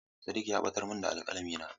Sadiq ya batar min da alkalamina.